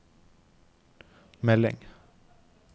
melding